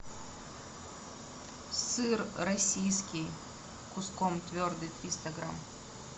сыр российский куском твердый триста грамм